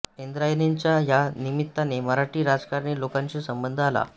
इंद्रायणींचा या निमित्ताने मराठी राजकारणी लोकांशी संबंध आला